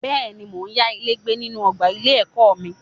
Bẹ́ẹ̀ni, mo ya ilé gbé nínú ọgbà ilé ẹ̀kọ́ mi.